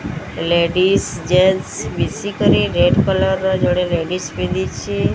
Ladies ଜେନ୍ସେ ମିଶିକରି red colour ଜଣେ ଲେଙ୍ଗିସ୍ ପିନ୍ଧିଛି।